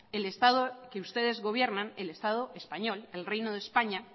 el estado que ustedes gobiernan el estado español el reino de españa